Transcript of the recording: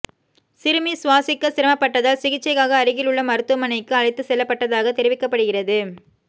சிறுமி சுவாசிக்க சிரமப்பட்டதால் சிகிச்சைக்காக அருகில் உள்ள மருத்துவமனைக்குஅழைத்து செல்லப்பட்டதாக தெரிவிக்கப்படுகிறது